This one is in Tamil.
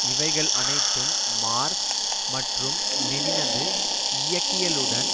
இவைகள் அனைத்தும் மார்க்ஸ் மற்றும் லெனினது இயங்கியலுடன்